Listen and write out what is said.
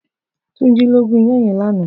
Tunji ló gún iyàn yén làná